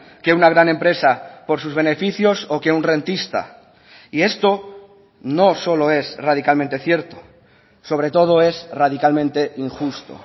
que una gran empresa por sus beneficios o que un rentista y esto no solo es radicalmente cierto sobre todo es radicalmente injusto